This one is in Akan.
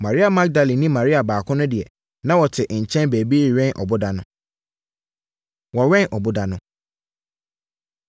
Maria Magdalene ne Maria baako no deɛ, na wɔte nkyɛn baabi rewɛn ɔboda no. Wɔwɛn Ɔboda No